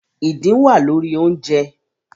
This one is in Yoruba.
Idin wa lori ounjẹ